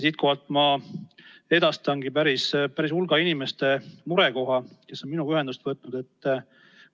Siinkohal ma edastangi päris paljude minuga ühendust võtnud inimeste mure.